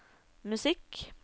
musikk